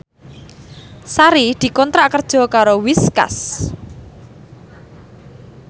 Sari dikontrak kerja karo Whiskas